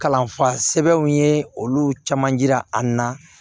Kalanfa sɛbɛnw ye olu caman jira an na